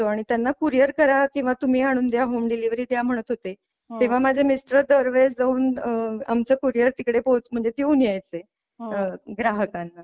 Courier करा किंवा तुम्ही आणून द्या होम डीलिवरी द्या म्हणत होते तेव्हा माझे मिस्टर दरवेळेस जाऊन आमच कुरिअर तिकडे पोहोच म्हणज देऊन यायचे ग्राहकांना.